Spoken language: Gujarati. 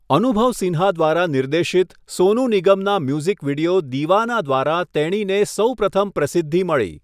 અનુભવ સિન્હા દ્વારા નિર્દેશિત સોનુ નિગમના મ્યુઝિક વિડિયો 'દીવાના' દ્વારા તેણીને સૌપ્રથમ પ્રસિદ્ધિ મળી.